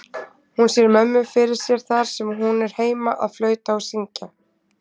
Hún sér mömmu fyrir sér þar sem hún er heima að flauta og syngja.